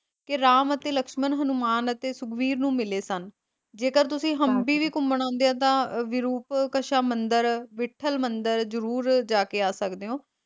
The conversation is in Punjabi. ਕੀ ਰਾਮ ਅਤੇ ਲਕਸ਼ਮਣ ਹਨੂੰਮਾਨ ਅਤੇ ਸੁਗਰੀਵ ਨੂੰ ਮਿਲੇ ਸਨ, ਜੇਕਰ ਤੁਸੀ ਹਮਪੀ ਵੀ ਘੁੰਮਣ ਆਉਂਦੇ ਹੋ ਤਾਂ ਵਿਰੂਪਕਸ਼ਾ ਮੰਦਿਰ, ਵਿੱਠਲ ਮੰਦਿਰ ਜਰੂਰ ਜਾ ਕੇ ਆ ਸਕਦੇ ਹੋ।